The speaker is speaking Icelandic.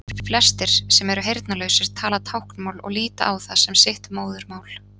flestir sem eru heyrnarlausir tala táknmál og líta á það sem sitt móðurmál